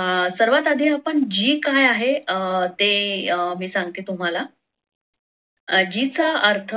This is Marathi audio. अं सर्वात आधी g काय आहे अं ते अं मी सांगतो तुम्हाला अं g चा अर्थ